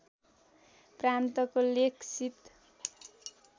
प्रान्तको लेखसित